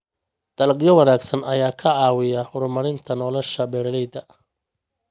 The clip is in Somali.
Dalagyo wanaagsan ayaa ka caawiya horumarinta nolosha beeralayda.